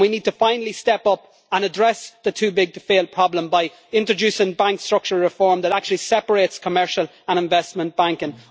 and we need finally to step up and address the too big to fail' problem by introducing bank structural reform that actually separates commercial and investment banking.